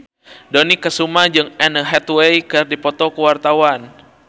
Dony Kesuma jeung Anne Hathaway keur dipoto ku wartawan